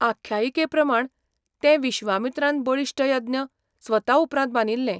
आख्यायिके प्रमाण तें विश्वामित्रान बळिश्ट यज्ञ स्वता उपरांत बांदिल्लें.